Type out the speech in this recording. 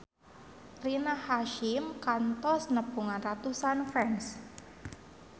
Rina Hasyim kantos nepungan ratusan fans